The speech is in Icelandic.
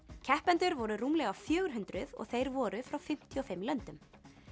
keppendur voru rúmlega fjögur hundruð og þeir voru frá fimmtíu og fimm löndum